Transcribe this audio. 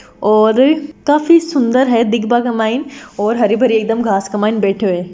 और काफी सुंदर है दिखबा का माइन और हरी भरी एकदम घास का माइन बेठयों है।